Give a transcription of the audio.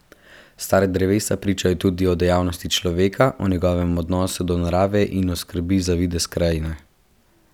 Stara drevesa pričajo tudi o dejavnosti človeka, o njegovem odnosu do narave in skrbi za videz krajine.